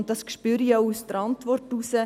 » Dies spüre ich auch aus der Antwort heraus.